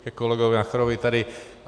Ke kolegovi Nacherovi tady.